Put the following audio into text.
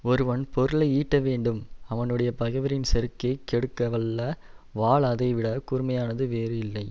ஒருவன் பொருளை ஈட்டவேண்டும் அவனுடைய பகைவரின் செருக்கைக் கெடுக்க வல்ல வாள் அதைவிடக் கூர்மையானது வேறு இல்லை